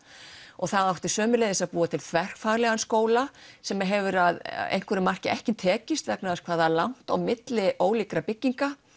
og það átti sömuleiðis að búa til þverfaglegan skóla sem hefur að einhverju marki ekki tekist vegna þess hversu langt er á milli ólíkra bygginga